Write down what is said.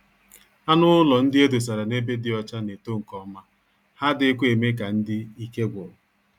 Anụ ụlọ ndị edosara n'ebe dị ọcha N'eto nke ọma, ha adịghị kwa eme ka ndị ike gwụrụ.